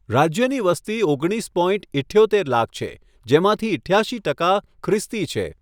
રાજ્યની વસ્તી ઓગણીસ પોઇન્ટ ઈઠ્યોતેર લાખ છે, જેમાંથી ઈઠ્યાશી ટકા ખ્રિસ્તી છે.